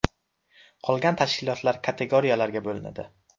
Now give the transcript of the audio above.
Qolgan tashkilotlar kategoriyalarga bo‘linadi.